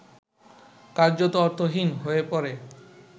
কার্যত অর্থহীন হয়ে পড়ে